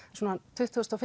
tuttugu og